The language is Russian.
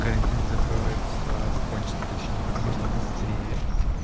карантин закроется закончится точнее как можно быстрее